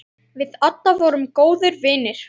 Við Adda vorum góðir vinir.